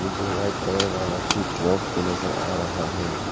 जो white colour वाला switch box भी नजर आ रहा है।